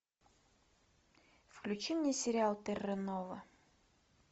включи мне сериал терра нова